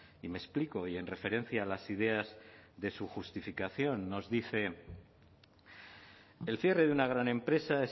y me explico y en referencia a las ideas de su justificación nos dice el cierre de una gran empresa